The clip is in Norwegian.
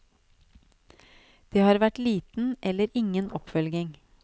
Det har vært liten eller ingen oppfølging.